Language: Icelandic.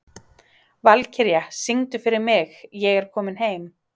Valkyrja, syngdu fyrir mig „Ég er kominn heim“.